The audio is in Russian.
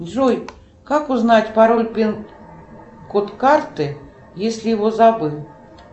джой как узнать пароль пин код карты если его забыл